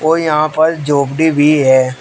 और यहां पर झोपड़ी भी है।